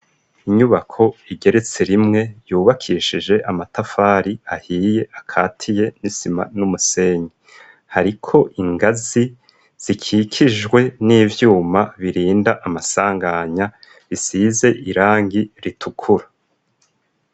Inyubako igeretse rimwe yubakishije amatafari ahiye akatiye n'isima n'umusenyi. Hariko ingazi zikikijwe n'ivyuma birinda amasanganya risize irangi ritukura.